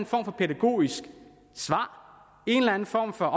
form for pædagogisk svar en eller anden form for